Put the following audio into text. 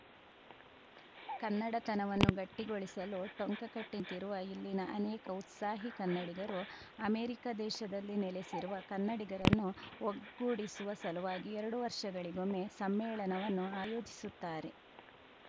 ಕನ್ನಡತನವನ್ನು ಗಟ್ಟಿಗೊಳಿಸಲು ಟೊಂಕ ಕಟ್ಟಿನಿಂತಿರುವ ಇಲ್ಲಿನ ಅನೇಕ ಉತ್ಸಾಹಿ ಕನ್ನಡಿಗರು ಅಮೆರಿಕ ದೇಶದಲ್ಲಿ ನೆಲೆಸಿರುವ ಕನ್ನಡಿಗರನ್ನು ಒಗ್ಗೂಡಿಸುವ ಸಲುವಾಗಿ ಎರಡು ವರ್ಷಗಳಿಗೊಮ್ಮೆ ಸಮ್ಮೇಳನವನ್ನು ಆಯೋಜಿಸುತ್ತಾರೆ